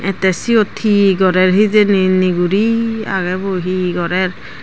te siyot he gorer hijeni niguri aage bo he gorer.